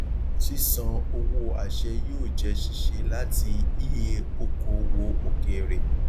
ṣíṣan owó àṣẹ yóò jẹ ṣíṣe láti ie okòowò òkèèrè